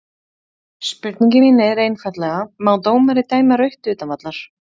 Spurningin mín er einfaldlega má dómari dæma rautt utan vallar?